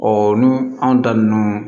n'u anw da nunnu